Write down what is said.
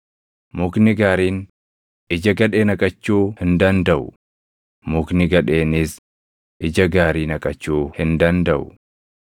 Mukni gaariin ija gadhee naqachuu hin dandaʼu; mukni gadheenis ija gaarii naqachuu hin dandaʼu.